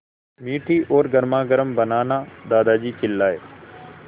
मीठी और गर्मागर्म बनाना दादाजी चिल्लाए